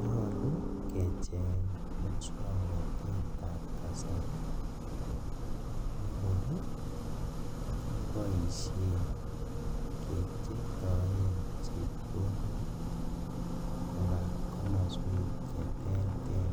Nyolu kecheng muswoknotet nekor keboishen kepchetoen chepkondok kobaa komoswek cheterter